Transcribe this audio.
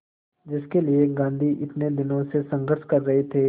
जिसके लिए गांधी इतने दिनों से संघर्ष कर रहे थे